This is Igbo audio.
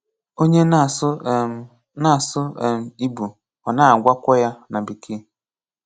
Onye na-asụ um na-asụ um Ìgbò, ọ na-agwákwọ ya na Békèe.